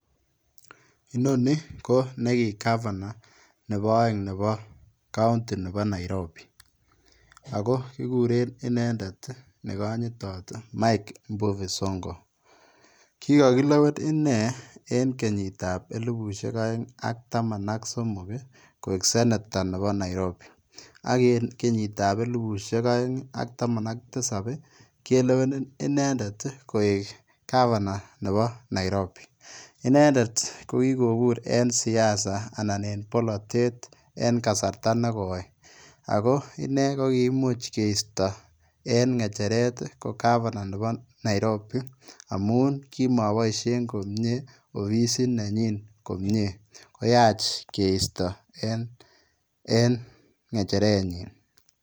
Inoni ko niki [Governor] nebo aeng nebo [county] nebo [Nairobi] ago kiguren inendet ii nekanyitaat mike mbuvi sonko kikakilewen inei en kenyiit ab elibusheek aeng ak taman ak somok ii koek [sanator] nebo [Nairobi] ak en kenyiit ab elibusheek aeng and tamaan ak tisaap ii keleween inendeet ii koek [governor] nebo [Nairobi] inendet ko kikobuur en siasa anan ko polatet en kasarta negoi inee ko imuuch keistaa en ngechereet ii ko [governor] nebo [Nairobi] amuun kimabaisheen komyei offisiit nenyoon komyei koyaach keista en ngechereet nyiin.